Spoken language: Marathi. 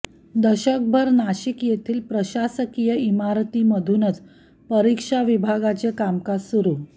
दशकभर नाशिक येथील प्रशासकीय इमारतीमधूनच परीक्षा विभागाचे कामकाज सुरू